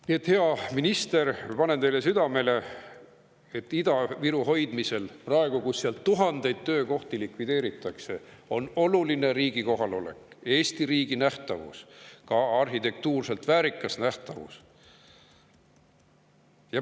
Nii et, hea minister, ma panen teile südamele, et Ida-Viru hoidmisel praegu, kus seal tuhandeid töökohti likvideeritakse, on oluline riigi kohalolek, Eesti riigi nähtavus, ka arhitektuuriliselt väärikas nähtavus.